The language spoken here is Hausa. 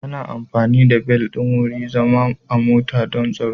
Ana amfani da bel ɗin wurin zama a mota don tsaro.